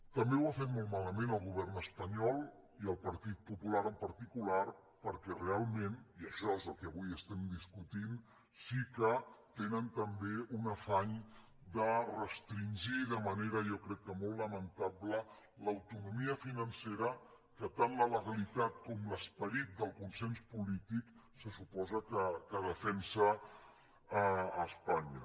també ho ha fet molt malament el govern espanyol i el partit popular en particular perquè realment i això és el que avui estem discutint sí que tenen també un afany de restringir de manera jo crec que molt lamentable l’autonomia financera que tant la legalitat com l’esperit del consens polític se suposa que defensen a espanya